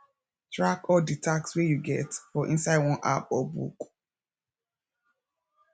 track all di task wey you get for inside one app or book